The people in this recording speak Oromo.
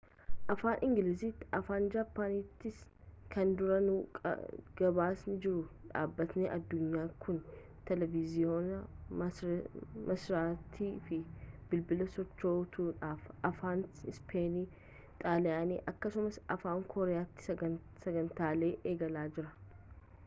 afaan ingiliziitiifi afaan jaappaaniitiin kan duraanuu gabaasaa jiru dhaabbati addunyaa kun teeleviizhiinii marsariitii fi bilbila sochootuudhaaf afaan ispeenii xaaliyaanii akkasumas afaan kooriyaatiin sagantaalee eegalee jira